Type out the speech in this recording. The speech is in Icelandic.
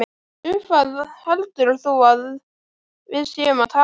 Um hvað heldur þú að við séum að tala!